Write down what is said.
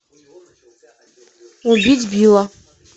убить билла